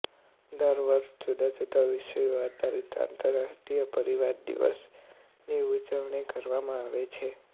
દર વર્ષે જુદાજુદા વિષયો આધારિત આંતરરાષ્ટ્રીય પરિવાર દિવસની ઉજવણી કરવામાં આવે છે